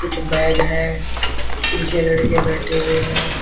कुछ बैग है पीछे लड़के बैठे हुए हैं।